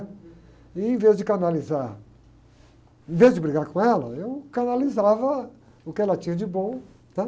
E em vez de canalizar, em vez de brigar com ela, eu canalizava o que ela tinha de bom, tá?